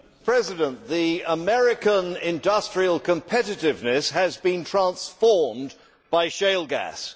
Mr President, America's industrial competitiveness has been transformed by shale gas.